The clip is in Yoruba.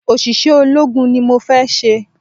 Òṣìṣẹ́ ológun ni mọ fé se